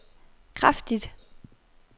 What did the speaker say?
kraftigt